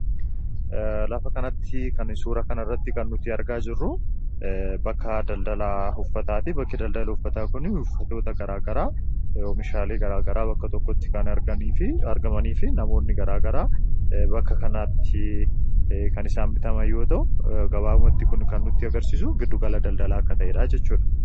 lafa kanatti kan suura kana irratti argaa jirru bakka daldalaa uffataa fi bakke daldala uffataa kun uffatoota garaa garaa oomishaalee garaa garaa bakka tokkotti argamanii fi namoonni garaagaraa bakka kanaatti kan isaan bitaniidha. g Gabaabamatti kun kan nutti agarsiisu giddugala daldalaa akka ta'e dha jechuudha.